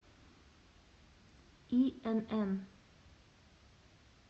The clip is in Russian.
инн